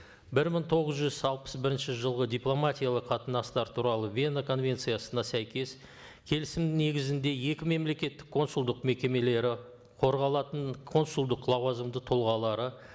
бір мың тоғыз жүз алпыс бірінші жылғы дипломатиялық қатынастар туралы вена конвенциясына сәйкес келісім негізінде екі мемлекеттік консулдық мекемелері қорғалатын консулдық лауазымды тұлғалары